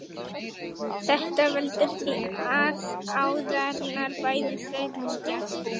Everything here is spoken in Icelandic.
þetta veldur því að æðarnar bæði þrengjast